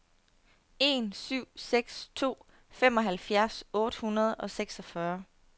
en syv seks to femoghalvfjerds otte hundrede og seksogfyrre